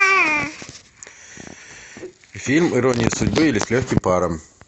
фильм ирония судьбы или с легким паром